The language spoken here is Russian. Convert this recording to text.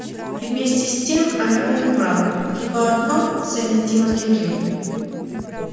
и вместе с тем она понимала что одно несовместимо с другим